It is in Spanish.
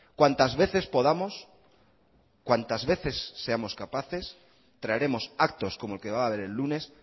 cuantas veces podamos cuantas veces seamos capaces traeremos actos como el que va a haber el lunes